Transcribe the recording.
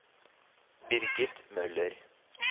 Birgit Møller